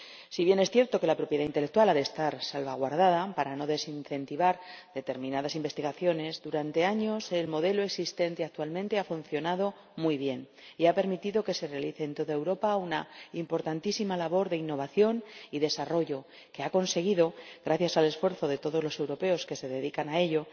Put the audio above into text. Si bien es cierto que la propiedad intelectual ha de estar salvaguardada para no desincentivar determinadas investigaciones, durante años el modelo existente actualmente ha funcionado muy bien y ha permitido que se realice en toda Europa una importantísima labor de innovación y desarrollo, que ha conseguido, gracias al esfuerzo de todos los europeos que se dedican a ello,